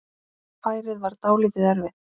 Færið var dálítið erfitt.